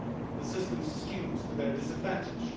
The system is skewed to their disadvantage.